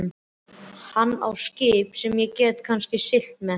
Hann á skip sem ég get kannski siglt með.